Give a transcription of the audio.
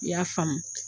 I y'a faamu